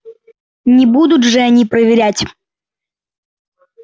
не будут же они проверять